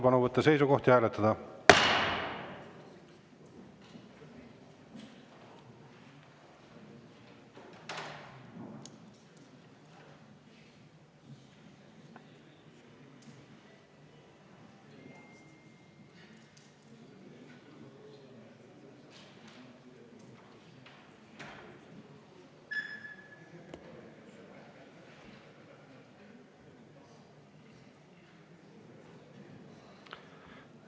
Palun võtta seisukoht ja hääletada!